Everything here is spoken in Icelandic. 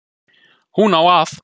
Hún á að